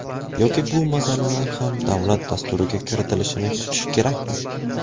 Yoki bu masalalar ham davlat dasturiga kiritilishini kutish kerakmi?